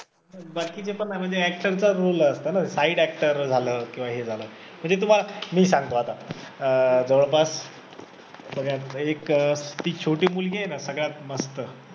बाकीचे पण म्हणजे actor चाच role असतं ना side actor झालं किंवा हे झालं म्हणजे तुम्हाला मी सांगतो आता अं जवळपास सगळ्यात एक अं ती छोटी मुलगी आहे ना सगळ्यात मस्त